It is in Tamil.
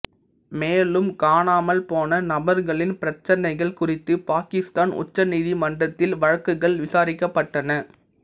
மேலும் காணாமல்போன நபர்களின் பிரச்சனைகள் குறித்து பாகிஸ்தான் உச்சநீதி மன்றத்தில் வழக்குகள் விசாரிக்கப்பட்டன